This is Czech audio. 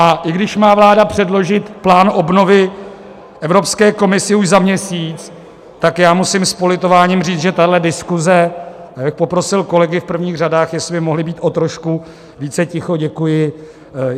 A i když má vláda předložit plán obnovy Evropské komisi už za měsíc, tak já musím s politováním říct, že tahle diskuze - já bych poprosil kolegy v prvních řadách, jestli by mohli být o trošku více ticho, děkuji.